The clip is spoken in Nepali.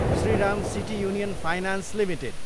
Shriram city union finance Ltd